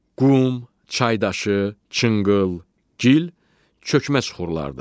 Qum, çaydaşı, çınqıl, gil, çökmə suxurlardır.